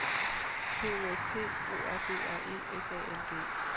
P O S T O R D R E S A L G